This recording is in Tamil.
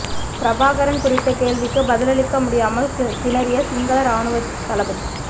பிரபாகரன் குறித்த கேள்விக்கு பதிலளிக்க முடியாமல் திணறிய சிங்கள ராணுவ தளபதி